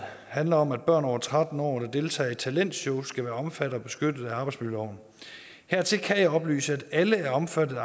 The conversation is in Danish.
handler om at børn over tretten år der deltager i talentshows skal være omfattet og beskyttet af arbejdsmiljøloven hertil kan jeg oplyse at alle er omfattet af